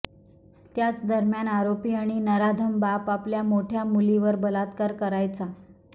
त्याच दरम्यान आरोपी आणि नराधम बाप आपल्या मोठ्या मुलीवर बलात्कार करायचा